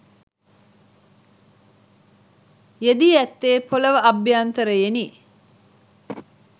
යෙදී ඇත්තේ පොළව අභ්‍යන්තරයෙනි